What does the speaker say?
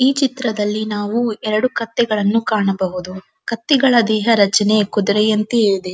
ಈ ಚಿತ್ರದಲ್ಲಿ ನಾವು ಎರಡು ಕತ್ತೆಗಳನ್ನು ಕಾಣಬಹುದು ಕತ್ತೆಗಳ ದೇಹ ರಚನೆ ಕುದರೆಯಂತೆ ಇವೆ.